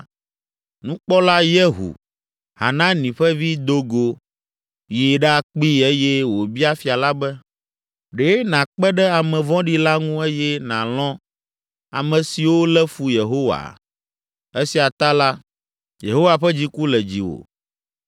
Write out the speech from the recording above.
nukpɔla Yehu, Hanani ƒe vi, do go yi ɖakpee eye wòbia fia la be, “Ɖe nàkpe ɖe ame vɔ̃ɖi la ŋu eye nàlɔ̃ ame siwo lé fu Yehowa? Esia ta la, Yehowa ƒe dziku le dziwò.